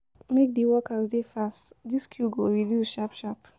Make di workers dey fast dis queue go reduce sharp-sharp.